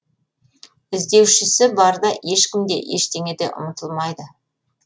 іздеушісі барда ешкім де ештеңе де ұмытылмайды